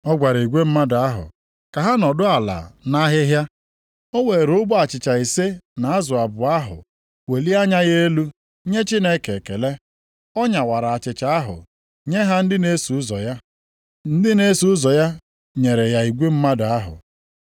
Ọ gwara igwe mmadụ ahụ ka ha nọdụ ala nʼahịhịa. O weere ogbe achịcha ise na azụ abụọ ahụ welie anya ya elu nye Chineke ekele. Ọ nyawara achịcha ahụ, nye ha ndị na-eso ụzọ ya, ndị na-eso ụzọ ya nyere ha igwe mmadụ ahụ.